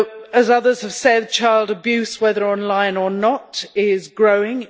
As others have said, child abuse, whether online or not, is growing.